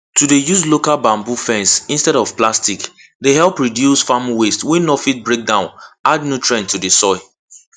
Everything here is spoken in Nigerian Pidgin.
to dey use local bamboo fence instead of plastic dey help reduce farm waste wey no fit breakdown add nutrient to the soil